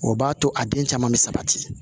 O b'a to a den caman bɛ sabati